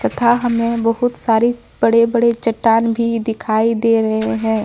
तथा हमे बहुत सारे बड़े बड़े चट्टान भी दिखाई दे रहे हैं।